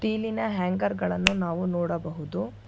ಇಲ್ಲಿನ ಹ್ಯಾಂಗರ್ ಗಳನ್ನು ನಾವು ನೋಡಬಹುದು.